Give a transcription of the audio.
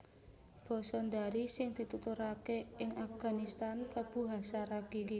Basa Dari sing dituturaké ing Afganistan klebu Hazaragi